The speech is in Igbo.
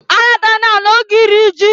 Alatana na oge iri ji!